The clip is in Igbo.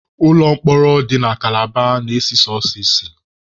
Ụlọ mkpọrọ dị na kalaba na-esi sọsọ ísì.